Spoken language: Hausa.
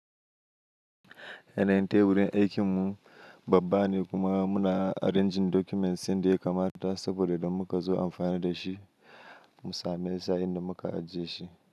Ya na yinte burin aikin mu babbane kuma muna arranging documents yanda ya kamata saboda don muka zo amfani da shi mu same sa inda muka ajiye shi.